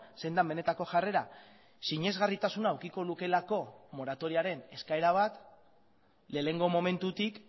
zein den benetako jarrera sinesgarritasuna edukiko lukeelako moratoriaren eskaera bat lehenengo momentutik